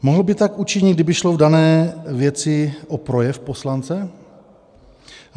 Mohl by tak učinit, kdyby šlo v dané věci o projev poslance?